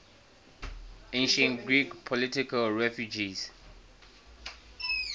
ancient greek political refugees